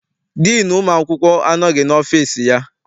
Diinu ụmụ akwụkwọ anọghị n'ọfịịsi ya.